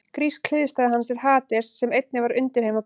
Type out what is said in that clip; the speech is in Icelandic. Grísk hliðstæða hans er Hades sem einnig var undirheimaguð.